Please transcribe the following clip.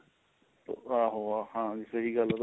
ਆਓ ਹਾਂਜੀ ਸਹੀਂ ਗੱਲ ਏ ਤੁਹਾਡੀ